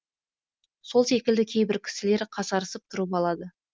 сол секілді кейбір кісілер қасарысып тұрып алады